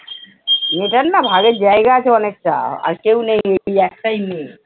মেয়েটার না ভাগের জায়গা আছে অনেকটা আর কেউ নেই ওই একটাই মেয়ে।